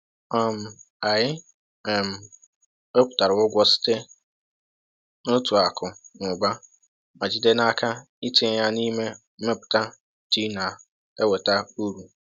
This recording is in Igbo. um Anyị um wepụtara ụgwọ site n’otu akụ na ụba ma jide n’aka itinye ya n’ime mmepụta ji na-enweta uru.